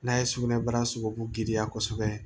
N'a ye sugunɛbara sogobu giriya kosɛbɛ